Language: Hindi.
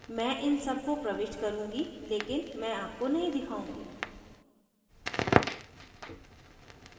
मैं इन सब को प्रविष्ट करुँगी लेकिन मैं आपको नहीं दिखाऊँगी